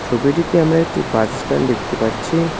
ছবিটিতে আমরা একটি বাস স্ট্যান্ড দেখতে পাচ্ছি।